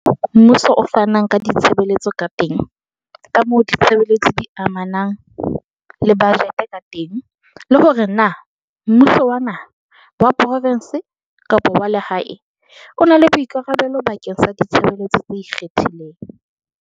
kamoo mmuso o fanang ka ditshebeletso ka teng, kamoo ditshebeletso di amanang le bajete ka teng le hore na mmu so wa naha, wa provense kapa wa lehae o na le boikarabelo bakeng sa ditshebeletso tse ikgethileng.